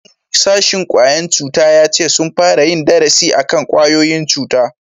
shugaban sashin ƙwayan cuta ya ce sun fara yin darasi akan kwayoyin cuta